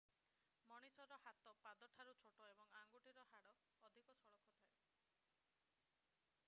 ମଣିଷର ହାତ ପାଦଠାରୁ ଛୋଟ ଏବଂ ଆଙ୍ଗୁଠିର ହାଡ଼ ଅଧିକ ସଳଖ ହୋଇଥାଏ